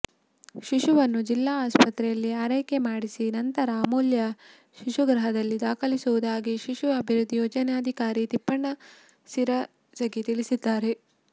ಶಿಶುವನ್ನು ಜಿಲ್ಲಾ ಆಸ್ಪತ್ರೆಯಲ್ಲಿ ಆರೈಕೆ ಮಾಡಿಸಿ ನಂತರ ಅಮೂಲ್ಯ ಶಿಶುಗೃಹದಲ್ಲಿ ದಾಖಲಿಸುವುದಾಗಿ ಶಿಶು ಅಭಿವೃದ್ಧಿ ಯೋಜನಾಧಿಕಾರಿ ತಿಪ್ಪಣ್ಣ ಸಿರಸಗಿ ತಿಳಿಸಿದ್ದಾರೆ